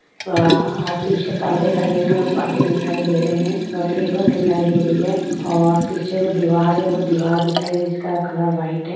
आ --आ --आ पीछे परदे लगे हुए है पर्दे दिखाई दे रहें है और टेबुल दिखाई दे रही है और पीछे जो दीवार है वो दीवार दिखाई जिसका कलर व्हाइट है।